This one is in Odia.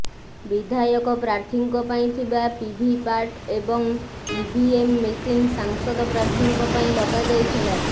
ବିଧାୟକ ପ୍ରାର୍ଥୀଙ୍କ ପାଇଁ ଥିବା ଭିଭିପାଟ ଏବଂ ଇଭିଏମ୍ ମେସିନ ସାଂସଦ ପ୍ରାର୍ଥୀଙ୍କ ପାଇଁ ଲଗା ଯାଇଥିଲା